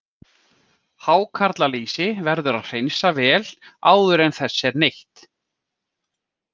Hákarlalýsi verður að hreinsa vel áður en þess er neytt.